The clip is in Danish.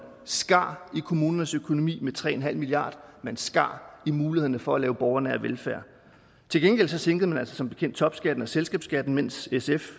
skar i kommunernes økonomi med tre en halv milliard men skar i mulighederne for at lave borgernær velfærd til gengæld sænkede man altså som bekendt topskatten og selskabsskatten mens sf